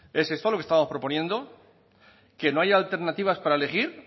es esto lo que estamos proponiendo que no haya alternativas para elegir